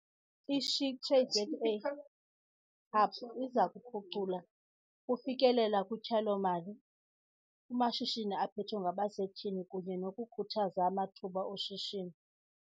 I-SheTradesZA Hub iza kuphucula ukufikelela kutyalo-mali kumashishini aphethwe ngabasetyhini kunye nokukhuthaza amathuba oshishino.